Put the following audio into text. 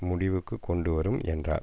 முடிவுக்கு கொண்டு வரும் என்றார்